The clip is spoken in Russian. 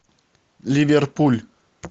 ливерпуль